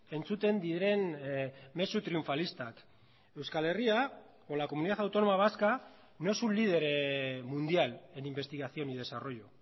entzuten diren mezu triunfalistak euskal herria o la comunidad autónoma vasca no es un líder mundial en investigación y desarrollo